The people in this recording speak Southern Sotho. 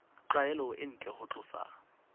tlwaelo e ntle ho tlosa